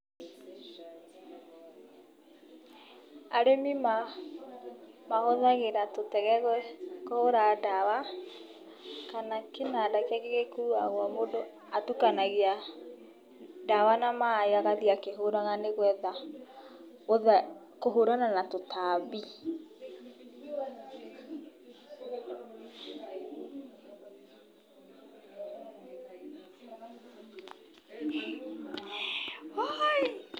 Arĩmi mahũthagĩra tũtege kũhũra ndawa, kana kĩnanda kĩngĩ gĩkuagwo mũndũ atukanagia ndawa na maĩ agathiĩ akĩhũraga, nĩgetha kũhũrana na tũtambi kũhũrana.